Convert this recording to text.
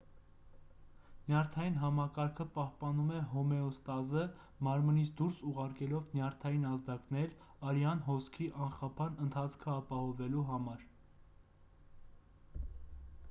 նյարդային համակարգը պահպանում է հոմեոստազը մարմնից դուրս ուղարկելով նյարդային ազդակներ արյան հոսքի անխափան ընթացքը պահպանելու համար